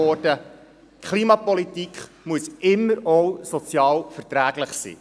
Die Klimapolitik muss immer auch sozial verträglich sein.